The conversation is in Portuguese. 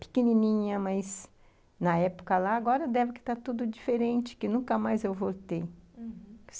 pequenininha, mas na época lá, agora deve que está tudo diferente, que nunca mais eu voltei, uhum.